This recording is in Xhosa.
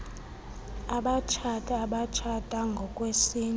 abatshati abatshata ngokwesintu